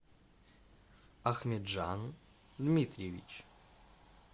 ахмеджан дмитриевич